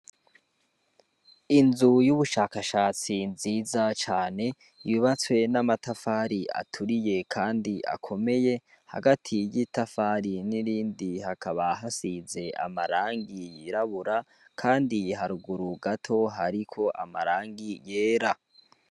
Inzu c'ubushakashatsi nziza cane yubatse n'amatafari aturiye kandi akomeye hagati y'itafari nirindi hakaba hasize irangi yirabura kandi haruguru gato hariko amarangi yera